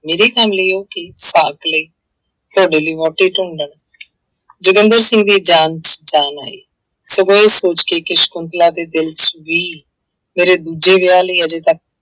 ਮੇਰੀ ਕੰਮ ਲਈ ਉਹ ਕੀ? ਸਾਕ ਲਈ, ਤੁਹਾਡੇ ਲਈ ਵਹੁਟੀ ਢੂੰਡਣ ਜੋਗਿੰਦਰ ਸਿੰਘ ਦੀ ਜਾਨ ਚ ਜਾਨ ਆਈ, ਸਗੋਂ ਇਹ ਸੋਚ ਕੇ ਕਿ ਸਕੁੰਤਲਾ ਦੇ ਦਿਲ ਚ ਵੀ ਮੇਰੇ ਦੂਜੇ ਵਿਆਹ ਲਈ ਹਜੇ ਤੱਕ